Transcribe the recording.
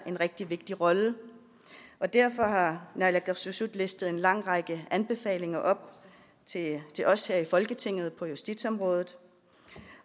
en rigtig vigtig rolle og derfor har naalakkersuisut listet en lang række anbefalinger op til os her i folketinget på justitsområdet